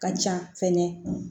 Ka ca fɛnɛ